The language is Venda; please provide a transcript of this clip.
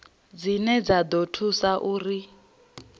dzine dza ḓo thusa uri